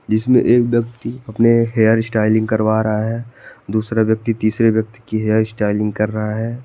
जिसमें एक व्यक्ति अपने हेयर स्टाइलिंग करवा रहा है दूसरा व्यक्ति तीसरे व्यक्ति की हेयर स्टाइलिंग कर रहा है।